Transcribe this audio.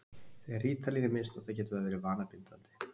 Þegar rítalín er misnotað getur það verið vanabindandi.